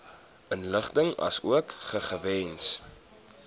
inligting asook gegewens